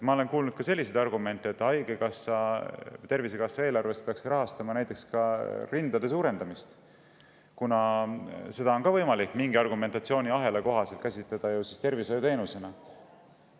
Ma olen kuulnud ka selliseid argumente, et Tervisekassa eelarvest peaks rahastama näiteks rindade suurendamist, sest ka seda on võimalik mingi argumentatsiooniahela kohaselt käsitleda tervishoiuteenusena.